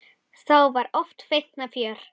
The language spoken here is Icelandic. Þá var oft feikna fjör.